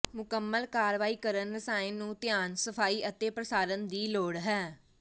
ਮੁਕੰਮਲ ਕਾਰਵਾਈ ਕਰਨ ਰਸਾਇਣ ਨੂੰ ਧਿਆਨ ਸਫਾਈ ਅਤੇ ਪ੍ਰਸਾਰਣ ਦੀ ਲੋੜ ਹੈ